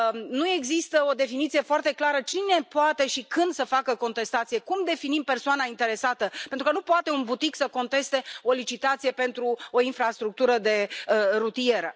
Nu există o definiție foarte clară cine poate și când să facă contestație, cum definim persoana interesată, pentru că nu poate un butic să conteste o licitație pentru o infrastructură rutieră.